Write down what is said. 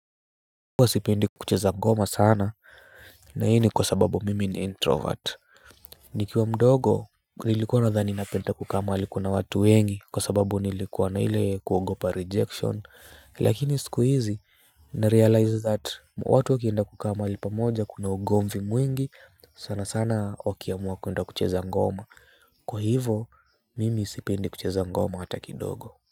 Huwa sipendi kucheza ngoma sana na hii ni kwa sababu mimi ni introvert nikiwa mdogo nilikuwa nadhani napenda kukaa mahali kuna watu wengi kwa sababu nilikuwa na ile kuogopa rejection. Lakini siku hizi narealize that watu wakienda kukaa mahali pamoja kuna ugomvi mwingi sana sana wakiamua kuenda kucheza ngoma kwa hivo mimi sipendi kucheza ngoma hata kidogo.